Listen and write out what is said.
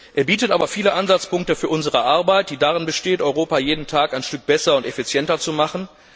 Er bietet aber viele Ansatzpunkte für unsere Arbeit, die darin besteht, Europa jeden Tag ein Stück besser und effizienter zu machen.